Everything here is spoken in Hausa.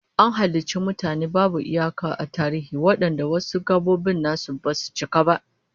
An halicci mutane babu iyaka a tarihi wadanda wasu gabobin nasu basu cika ba